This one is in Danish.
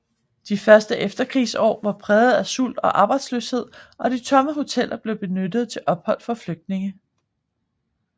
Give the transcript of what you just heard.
De første efterkrigsår var præget af sult og arbejdsløshed og de tomme hoteller blev benyttet til ophold for flygtninge